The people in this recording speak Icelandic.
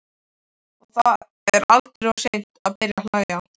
Og það er aldrei of seint að byrja að hlæja.